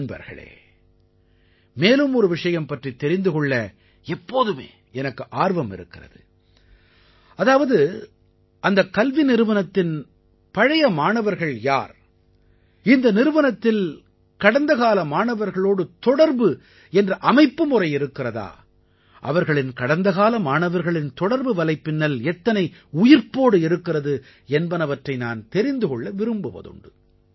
நண்பர்களே மேலும் ஒரு விஷயம் பற்றித் தெரிந்து கொள்ள எப்போதுமே எனக்கு ஆர்வம் இருக்கிறது அதாவது அந்த கல்வி நிறுவனத்தின் பழைய மாணவர்கள் யார் இந்த நிறுவனத்தில் கடந்த கால மாணவர்களோடு தொடர்பு என்ற அமைப்புமுறை இருக்கிறதா அவர்களின் கடந்தகால மாணவர்களின் தொடர்பு வலைப்பின்னல் எத்தனை உயிர்ப்போடு இருக்கிறது என்பனவற்றை நான் தெரிந்து கொள்ள விரும்புவதுண்டு